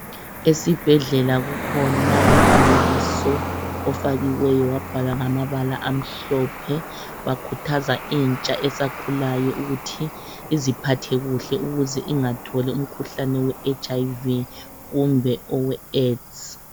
Esibhedlela kukhona umfanekiso ofakiweyo wabhalwa ngamabala amhlophe ,bakhuthaza intsha esakhulayo ukuthi iziphathe kuhle ukuze ingatholi umkhuhlane we HIV kumbe oweAIDS.